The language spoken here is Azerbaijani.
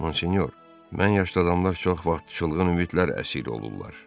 Monsinyor, mən yaşlı adamlar çox vaxt çılğın ümidlər əsiri olurlar.